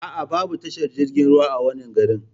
Aa, Babu tashar jirgin ruwa a wannan garin